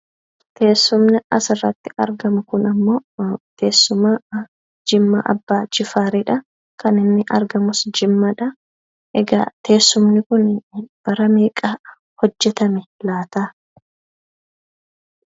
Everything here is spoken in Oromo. Teessumni asirratti argamu kun ammoo teessuma Abbaa Jifaariidha. Kaninni argamus Jimmaattiidha. Egaa teessumni kun bara meeqa hojjetame laata?